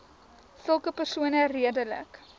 sulke persone redelik